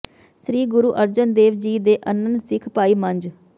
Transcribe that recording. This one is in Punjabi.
ਸ੍ਰੀ ਗੁਰੂ ਅਰਜਨ ਦੇਵ ਜੀ ਦੇ ਅਨੰਨ ਸਿੱਖ ਭਾਈ ਮੰਝ